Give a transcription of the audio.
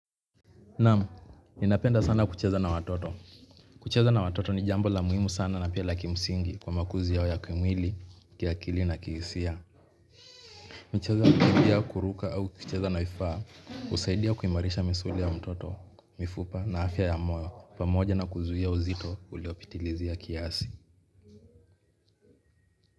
Naam, ninapenda sana kucheza na watoto. Kucheza na watoto ni jambo la muhimu sana na pia la ki msingi kwa makuzi yao ya kimwili, kiakili na kihisia. Michezo ya kukimbia kuruka au kucheza na vifaa, husaidia kuimarisha misuli ya mtoto, mifupa na afya ya moyo, pamoja na kuzuia uzito uliopitilizia kiasi.